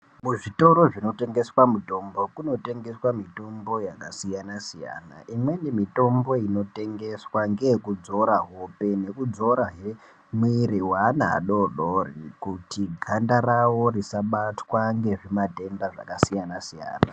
Muzvitoro zvinotengeswa mitombo kunotongeswa mitombo yakasiyana siyana imweni mitombo inotengeswa ngeyekudzora hope nekudzorahe mwiri weana adodori kuti ganda rawo risabatwa ngezvimatenda zvakasiyana siyana.